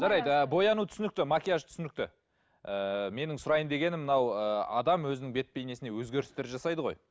жарайды ы бояну түсінікті макияж түсінікті ыыы менің сұрайын дегенім мынау ыыы адам өзінің бет бейнесіне өзгерістер жасайды ғой